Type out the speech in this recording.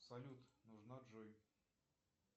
салют нужна джой